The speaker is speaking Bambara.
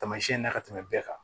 Taamasiyɛn na ka tɛmɛ bɛɛ kan